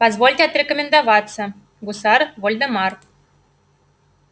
позвольте отрекомендоваться гусар вольдемар